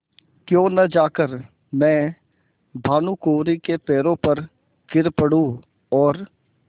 क्यों न जाकर मैं भानुकुँवरि के पैरों पर गिर पड़ूँ और